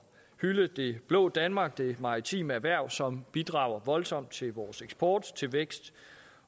hylde det blå danmark det maritime erhverv som bidrager voldsomt til vores eksport til vækst